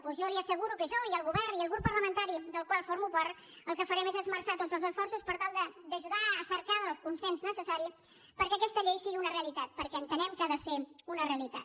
doncs jo li asseguro que jo i el govern i el grup parlamentari del qual formo part el que farem és esmerçar tots els esforços per tal d’ajudar a cercar el consens necessari perquè aquesta llei sigui una realitat perquè entenem que ha de ser una realitat